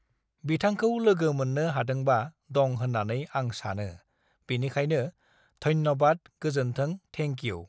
बिथांखौ लोगो मोननो हादोंबा दं होन्नानै आं सानो, बेखिनियानो। धन्य़बाद गोजोनथों थेंकिउ (thank you)।